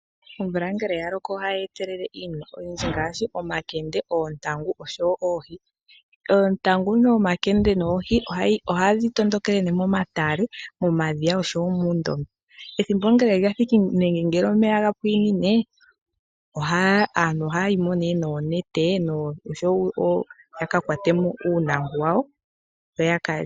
Omvula ngele yaloko ohayi etelele oma Nkende noNtaangu osho wo oohi. ontaangu, nomankete, noohi oha dhitondokele ne momatale no madhiya osho wo muundombe. Ethimbo ngele lathiki nenge mwa pwinine aantu ohahimo no neete yakakwatemo uunanku waawo.